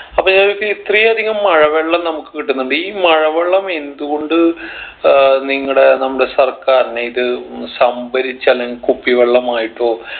അപ്പൊ ഞാൻ ചോയ്ക്ക ഇത്രയും അധികം മഴ വെള്ളം നമ്മുക്ക് കിട്ടുന്നുണ്ട് ഈ മഴ വെള്ളം എന്ത്കൊണ്ട് ഏർ നിങ്ങടെ നമ്മടെ സർക്കാറിനെ ഇത് സംഭരിച്ച് അല്ലെങ്കി കുപ്പിവെള്ളമായിട്ടോ